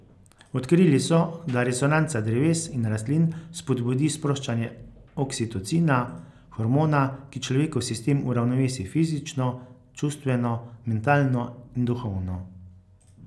Odkrili so, da resonanca dreves in rastlin spodbudi sproščanje oksitocina, hormona, ki človekov sistem uravnovesi fizično, čustveno, mentalno in duhovno.